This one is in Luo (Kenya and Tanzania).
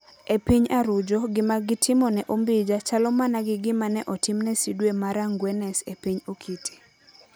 E piny Arujo, gima gitimo ne #Ombija chalo mana gi gima ne otim ne Cdwe mara ngwenes e piny #Okite.